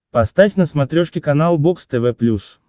поставь на смотрешке канал бокс тв плюс